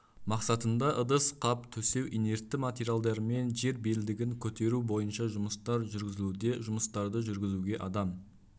мақсатында ыдыс қап төсеу инертті материалдармен жер белдігін көтеру бойынша жұмыстар жүргізілуде жұмыстарды жүргізуге адам